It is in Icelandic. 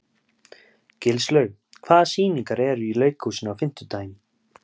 Gilslaug, hvaða sýningar eru í leikhúsinu á fimmtudaginn?